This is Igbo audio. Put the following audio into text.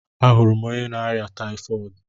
A hụrụ m onye na-arịa tayifọọdu